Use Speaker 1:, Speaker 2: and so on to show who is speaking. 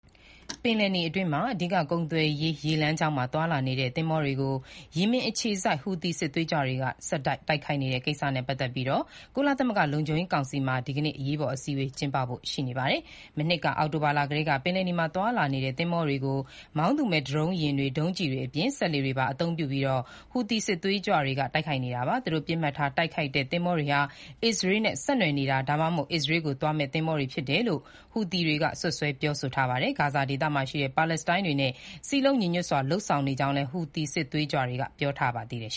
Speaker 1: ပင်လယ်နီအတွင်း အဓိက ကုန်သွယ်ရေး ရေလမ်းကြောင်းမှာ သွားလာနေတဲ့ သင်္ဘောတွေကို ယီမင်အခြေစိုက် ဟူသီစစ်သွေးကြွတွေက ဆက်တိုက် တိုက်ခိုက်နေတဲ့ကိစ္စနဲ့ပတ်သက်လို့ ကုလသမဂ္ဂလုံခြုံရေးကောင်စီမှာ ဒီကနေ့ အရေးပေါ်အစည်းအဝေး ကျင်းပဖို့ ရှိနေပါတယ်။ မနှစ်အောက်တိုဘာလကတည်း ပင်လယ်နီမှာသွားနေတဲ့သင်္ဘောတွေကို မောင်းသူမဲ့ ဒရုံးယာဉ်တွေ၊ ဒုံးကျည်တွေအပြင် စက်လှေတွေပါ အသုံးပြုပြီး ဟူသီစစ်သွေးကြွတွေက တိုက်ခိုက်နေတာပါ။ သူတို့ပစ်မှတ်ထားတိုက်ခိုက်တဲ့ သင်္ဘောတွေဟာ အစ္စရေးနဲ့ ဆက်နွယ်နေတာ၊ ဒါမှမဟုတ် အစ္စရေးကို သွားမယ့်သင်္ဘောတွေဖြစ်တယ်လို့ ဟူသီတွေက စွပ်စွဲပြောဆိုထားပါတယ်။ ဂါဇာဒေသမှာရှိတဲ့ ပါလက်စတိုင်းတွေနဲ့ စည်းလုံးညီညွတ်စွာ လုပ်ဆောင်နေကြောင်း ဟူသီစစ်သွေးကြွတွေက
Speaker 2: ပြောပါတယ်။